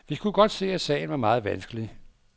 Vi kunne godt se, at sagen var meget vanskelig.